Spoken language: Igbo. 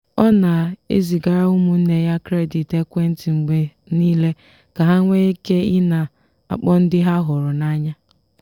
ọ na-ezigara ụmụnne ya kredit ekwentị mgbe niile ka ha nwee ike ị na-akpọ ndị ha hụrụ n'anya.